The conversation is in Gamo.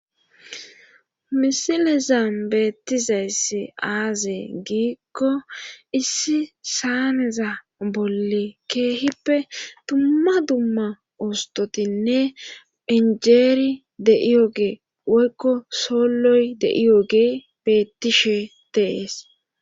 Misilezam beettizayssi aaze giikko issi saaneza bolle keehippe tumma dumma ostotinne injeeri de7iyogee woykko soolloy deiyo gee bettishe tees.